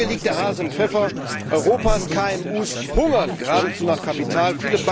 Genau hier liegt der Hase im Pfeffer Europas KMUs hungern geradezu nach Kapital.